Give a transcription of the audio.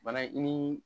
Bana in ni